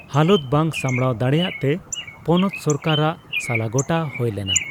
ᱦᱟᱞᱚᱛ ᱵᱟᱝ ᱥᱟᱢᱲᱟᱣ ᱫᱟᱲᱮᱭᱟᱜᱛᱮ ᱯᱚᱱᱚᱛ ᱥᱚᱨᱠᱟᱨᱟᱜ ᱥᱟᱞᱟᱜᱚᱴᱟ ᱦᱳᱭ ᱞᱮᱱᱟ ᱾